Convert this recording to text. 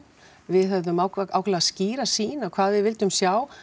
við höfum ákaflega ákaflega skýra sýn á hvað við vildum sjá